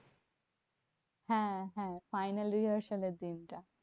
হ্যাঁ হ্যাঁ final rehearsal এর দিনটা।